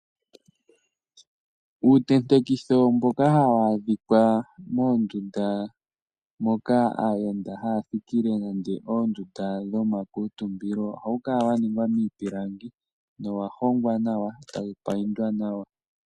Uutentekitho mboka hawu adhika moondunda moka aayenda haya thikile, nenge oondunda dhomakuuntumbilo, ohawu kala waningwa miipilangi, nowa hongwa nawa, e tawu paintwa nawa.